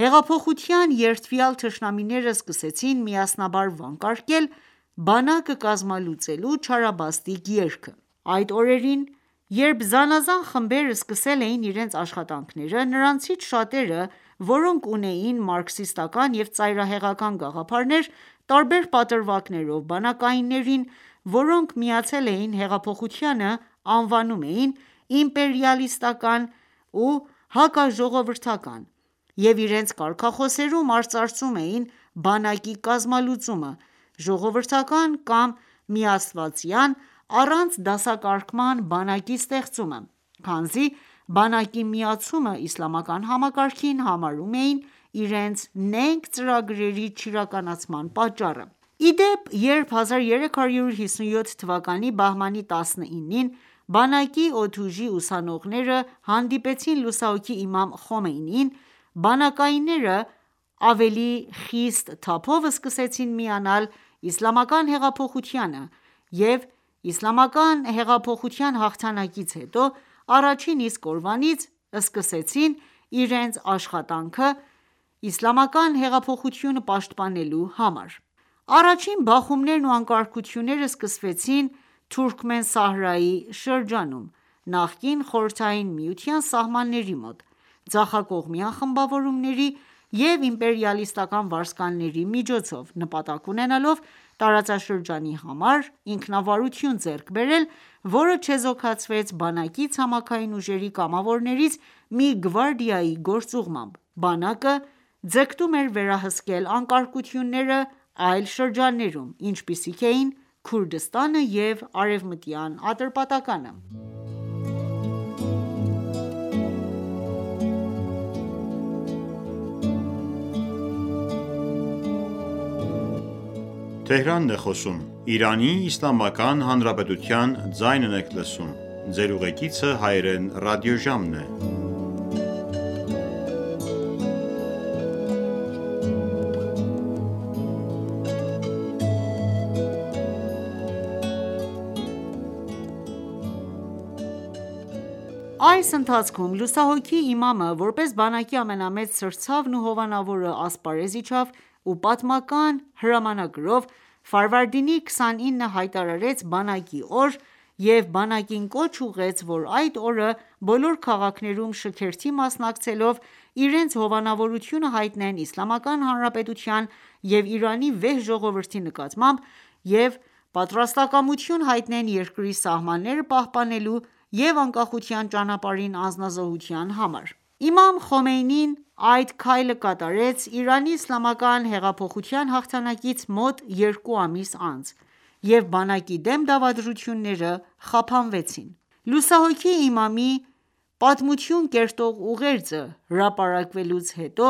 ,հեղափոխության երդվյալ թշնամիները սկսեցին միասնաբար վանկարկել բանակը կազմալուծելու չարաբաստիկ երգը: Այդ օրերին ,երբ զանազան խմբեր սկսել էին իրենց աշխատանքները, նրանցից շատերը, որոնք ունեին մարքսիստական ​​և ծայրահեղական գաղափարներ, տարբեր պատրվակներով բանակայիններին ,որոնք միացել էին հեղափոխությանը ,անվանում էին իմպերիալիստական ու հակաժողովրդական և իրենց կարգախոսերում արծարծում էին բանակի կազմալուծումը, ժողովրդական կամ միաստվածյան առանց դասակարգման բանակի ստեղծումը, քանզի բանակի միացումը իսլամական համակարգին համարում էին իրենց նենգ ծրագրերի չիրականացման պատճառը: Իպեպ ,երբ 1357 թվականի բահմանի 19-ին, բանակի օդուժի ուսանողները հանդիպեցին լուսահոգի իմամ Խոմեյնիին ,բանակայինները ավելի խիստ թափով սկսեցին միանալ իսլամական հեղափոխությանը և իսլամական հեղափոխության հաղթանակից հետո ,առաջին իսկ օրվանից սկսեցին իրենց աշխատանքը իսլամական հեղափոխությունը պաշտպանելու համար: Առաջին բախումներն ու անկարգությունները սկսվեցին Թուրքմենսահրայի շրջանում՝ (նախկին) խորհրդային միության սահմանների մոտ, ձախակողմյան խմբավորումների և իմպերիալիստական վարձկանների միջոցով, նպատակ ունենալով՝ տարածաշրջանի համար ինքնավարություն ձեռք բերել, որը չեզոքացվեց բանակի ցամաքային ուժերի կամավորներից մի գվարդիայի գործուղմամբ: Բանակը ձգտում էր վերահսկել անկարգությունները այլ շրջաններում, ինչպիսիք էին Քուրդիստանը և արևմտյան Ատրպատականը: Այդ ընթացքում լուսահոգի Իմամը ,որպես բանակի ամենամեծ սրտցավն ու հովանավորը, ասպարեզ իջավ ու պատմական հրամանագրով Ֆարվարդինի 29-ը հայտարարեց Բանակի օր և բանակին կոչ ուղղեց ,որ այդ օրը բոլոր քաղաքներում շքերթի մասնակցելով իրենց հովանավորությունը հայտնեն Իսլամական Հանրապետության և Իրանի վեհ ժողովրդի նկատմամբ և պատրաստակամություն հայտնեն երկրի սահմանները պահպանելու և անկախության ճանապարահին անձնազոհության համար:Իմամ Խոմեյնին այդ քայլը կատարեց Իրանի իսլամական հեղափոխության հաղթանակից մոտ երկու ամիս անց, եւ բանակի դեմ դավադրությունները խափանվեցին։ Լուսահոգի Իմամի պատմություն կերտող ուղերձը հրապարակելուց հետո